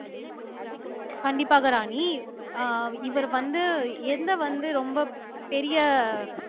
கண்டிப்பாக ராணி அஹ் இவர் வந்து எந்த வந்து ரொம்ப பெரிய